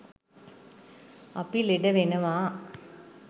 අපි ලෙඩ වෙනවා.